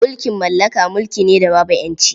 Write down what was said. Mulkin mallaka mulki ne da babu ƴanci.